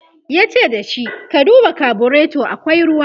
yace da shi " ka duba carburator akwai ruwa!"